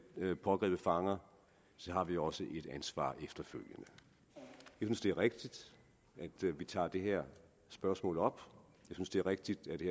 pågrebet fanger har vi også efterfølgende et ansvar jeg synes det er rigtigt at vi tager det her spørgsmål op jeg synes det er rigtigt at det